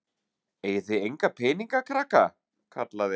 Eigið þið enga peninga krakkar? kallaði hann.